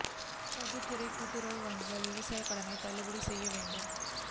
பொதுத்துறை கூட்டுறவு வங்கிகள் விவசாய கடனை தள்ளுபடி செய்ய வேண்டும்